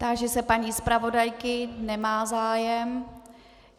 Táži se paní zpravodajky - nemá zájem.